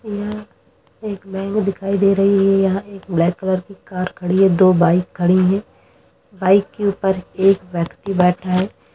यहां एक बैंक दिखाई दे रही है| यहाँ एक ब्लैक कलर की कार खड़ी है दो बाइक खड़ी है| बाइक के ऊपर एक व्यक्ति बैठा है।